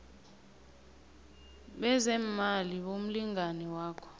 bezeemali bomlingani wakho